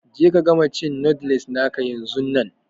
Je ka gama cin noodles naka yanzun nan!